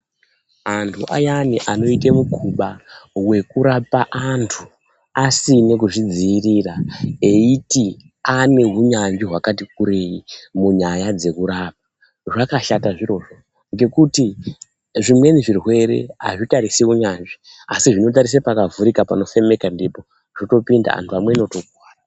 Antu ayani anoite mukuba wekurapa antu asine kuzvidziirira eiti ane hunyanzvi hwakati kurei munyaya dzekurapa zvakashata zvirozvo ngekuti zvimweni zvirwere hazvitarisi unyanzvi asi zvinotarise pakavhurika panofemeka ndipo zvotopinda antu amweni otokuwara.